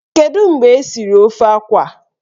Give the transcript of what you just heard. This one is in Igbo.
Kedu mgbe esiri ofe akwụ a?